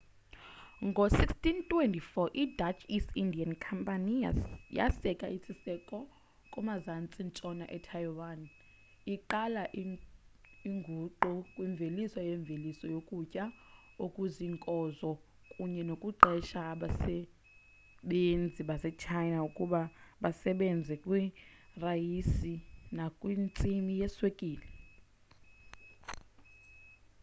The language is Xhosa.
ngo-1624 i-dutch east india inkampani yaseka isiseko kumazantsi-ntshona etaiwan iqala inguquko kwimveliso yemveliso yokutya okuziinkozo kunye nokuqesha abasebenzi basechina ukuba basebenze kwirayisi nakwintsimi yeswekile